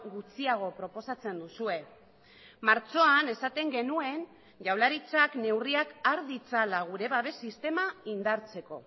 gutxiago proposatzen duzue martxoan esaten genuen jaurlaritzak neurriak har ditzala gure babes sistema indartzeko